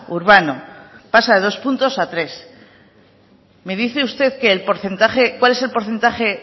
urbano pasa de dos puntos a tres me dice usted cuál es el porcentaje